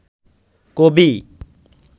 কবি